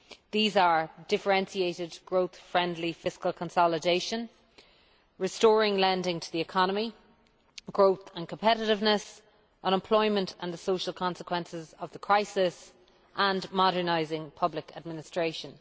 These are differentiated growth friendly fiscal consolidation, restoring lending to the economy, growth and competitiveness, unemployment and the social consequences of the crisis, and modernising public administration.